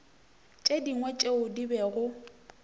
tše dingwe tšeo di bego